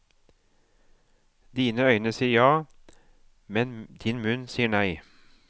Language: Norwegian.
Dine øyne sier ja, men din munn sier nei.